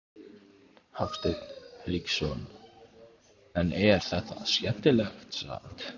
Hafsteinn Hauksson: En er þetta skemmtilegt samt?